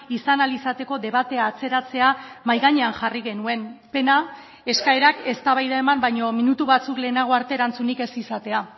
izan ahal izateko debatea atzeratzea mahai gainean jarri genuen pena eskaerak eztabaida eman baino minutu batzuk lehenago arte erantzunik ez izatea